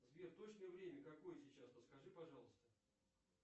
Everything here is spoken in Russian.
сбер точное время какое сейчас подскажи пожалуйста